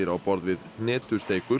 á borð við